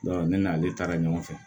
ne n'ale taara ɲɔgɔn fɛ